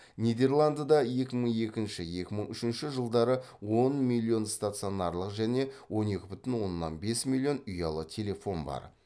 нидерландыда екі мың екінші екі мың үшінші жылдары он миллион стационарлық және он екі бүтін оннан бес миллион ұялы телефон бар